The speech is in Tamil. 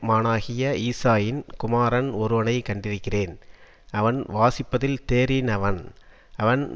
மானாகிய ஈசாயின் குமாரன் ஒருவனை கண்டிருக்கிறேன் அவன் வாசிப்பதில் தேறி னவன் அவன்